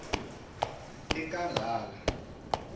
ekangala